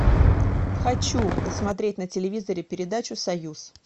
хочу посмотреть на телевизоре передачу союз